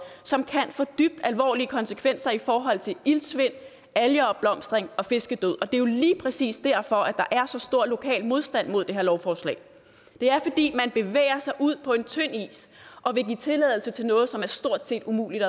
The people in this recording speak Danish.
som kan få dybt alvorlige konsekvenser i forhold til iltsvind algeopblomstring og fiskedød og det er jo lige præcis derfor der er så stor lokal modstand mod det her lovforslag det er fordi man bevæger sig ud på en tynd is og vil give tilladelse til noget som er stort set umuligt